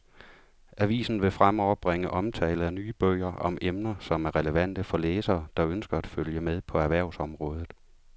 Avisen vil fremover bringe omtale af nye bøger om emner, som er relevante for læsere, der ønsker at følge med på erhvervsområdet.